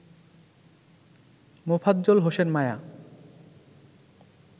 Mofazzal Hossain Maya